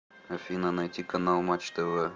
афина найти канал матч тв